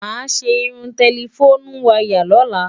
Máa ṣe irun tẹlifónú wayà lóla.